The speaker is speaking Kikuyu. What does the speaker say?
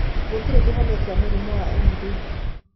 Gũtirĩ kĩhonia kĩa mũrimũ wa MD.